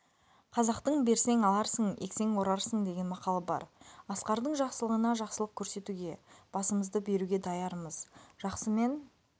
қазақтың берсең аларсың ексең орарсың деген мақалы бар асқардың жақсылығына жақсылық көрсетуге басымызды беруге даярмыз жақсымен